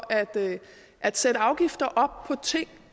at sætte afgifter op på ting